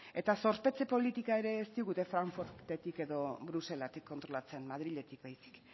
eta zorpetze politika ere ez digute frankfurtetik edo bruselatik kontrolatzen madrilek baizik